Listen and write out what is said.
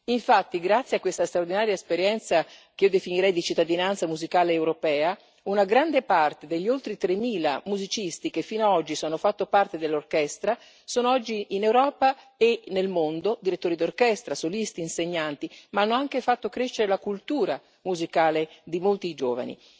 Infatti, grazie a questa straordinaria esperienza, che io definirei di cittadinanza musicale europea, una grande parte degli oltre 3000 musicisti che fino a oggi hanno fatto parte dell'orchestra sono oggi, in Europa e nel mondo, direttori d'orchestra, solisti e insegnanti, ma hanno anche fatto crescere la cultura musicale di molti giovani.